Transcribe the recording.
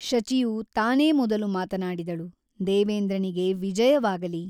ಶಚಿಯು ತಾನೇ ಮೊದಲು ಮಾತನಾಡಿದಳು ದೇವೇಂದ್ರನಿಗೆ ವಿಜಯವಾಗಲಿ !